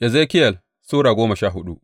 Ezekiyel Sura goma sha hudu